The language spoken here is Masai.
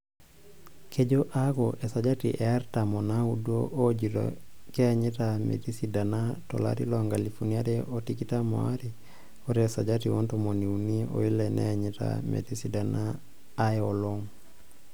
Kejoo aaku esajati e artam onaudo oojito keenyita metisidana to larii loonkalifuni are o tikitam aare ore esajati oontomoni unii oile neenyita metisidana aay olong'.